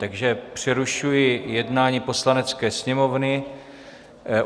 Takže přerušuji jednání Poslanecké sněmovny.